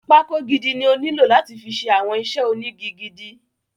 Pákó gidi ni ó nílò láti fi ṣe àwọn iṣẹ́ ónigi gidi.